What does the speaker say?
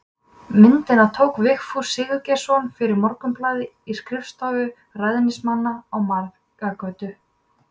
Myndina tók Vigfús Sigurgeirsson fyrir Morgunblaðið í skrifstofu ræðismannsins að Marargötu